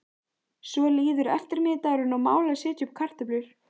Svo líður eftirmiðdagurinn og mál að setja upp kartöflur.